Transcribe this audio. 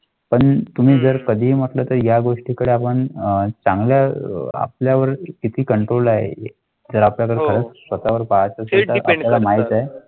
मध्ये म्हटलं तर या गोष्टीकडे आपण चांगल्या आपल्यावर किती कंट्रोल आहे तर आपल्याकडे वळ.